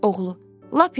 Oğlu: Lap yaxşı.